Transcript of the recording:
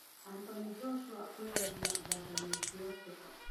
Anthony Joshua kũgũithia Wladimir Klitschko